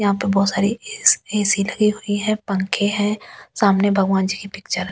यहां पर बहुत सारी ए_सी ए_सी लगी हुई है पंखे हैं सामने भगवान जी की पिक्चर --